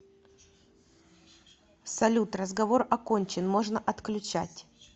салют разговор окончен можно отключать